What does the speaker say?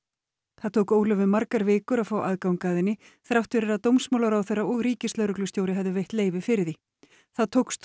það tók Ólöfu margar vikur að fá aðgang að henni þrátt fyrir að dómsmálaráðherra og ríkislögreglustjóri hefðu veitt leyfi fyrir því það tókst þó